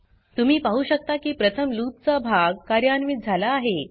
तुम्ही पाहु शकता की प्रथम लूप चा भाग कार्यान्वित झाला आहे